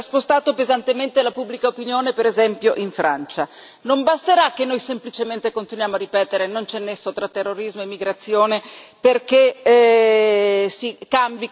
Non basterà che noi semplicemente continuiamo a ripetere non c'è nesso tra terrorismo e immigrazione perché cambi questa percezione e perché poi sia vero fino in fondo.